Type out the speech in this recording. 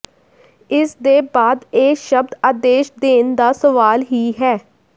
ਇਸਦੇ ਬਾਅਦ ਇਹ ਸ਼ਬਦ ਆਦੇਸ਼ ਦੇਣ ਦਾ ਸਵਾਲ ਹੀ ਹੈ